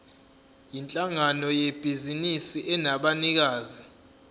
yinhlangano yebhizinisi enabanikazi